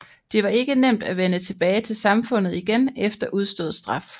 Det var ikke nemt at vende tilbage til samfundet igen efter udstået straf